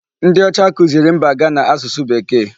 Ndị ọcha kuziri mba Ghana asụsụ Bekee.